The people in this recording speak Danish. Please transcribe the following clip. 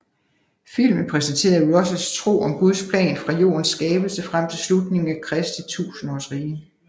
Filmen præsenterede Russells tro om Guds plan fra jordens skabelse frem til slutningen af Kristi tusindårsrige